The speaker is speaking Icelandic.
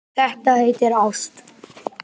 Þetta heitir ást.